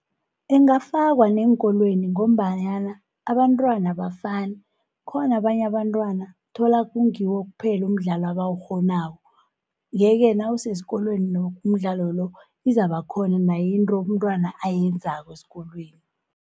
Ingafakwa neenkolweni ngombanyana, abantwana abafani, khona abanye abantwana thola kungiwo kuphela umdlalo abawukghonako. Ye-ke nawusesikolweni umdlalo lo, izaba khona naye into umntwana ayenzako esikolweni.